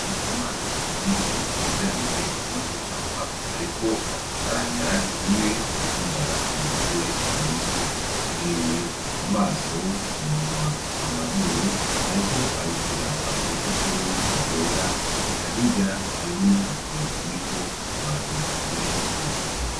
Ndikumana yize ibijanye no gucapa, ariko ashushanya bimwe bubihimba bigize umutwe yahereye ku maso umunwa amazuru, ariko abishira agurupapuro ugwera ekahirya hariho n'ifoto iriko abantu benshi.